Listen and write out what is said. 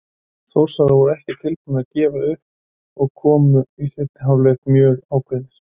Þórsarar voru ekki tilbúnir að gefast upp og komu í seinni hálfleik mjög ákveðnir.